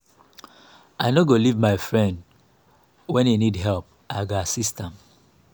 i no go leave my friend when e need help i go assist am.